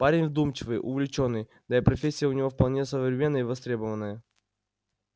парень вдумчивый увлечённый да и профессия у него вполне современная и востребованная